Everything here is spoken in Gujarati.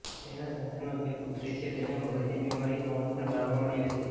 તેને સંતાનમાં બે પુત્રી છે તેને મગજની બીમારી હોવાનુ પણ જાણવા મળ્યુ છે